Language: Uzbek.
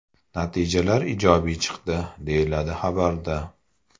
Natijalar ijobiy chiqdi”, deyiladi xabarda.